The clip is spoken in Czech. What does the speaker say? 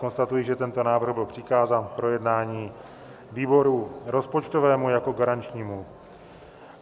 Konstatuji, že tento návrh byl přikázán k projednání výboru rozpočtovému jako garančnímu.